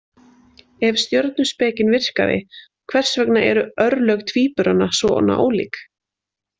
Ef stjörnuspekin virkaði, hvers vegna eru örlög tvíburana svona ólík?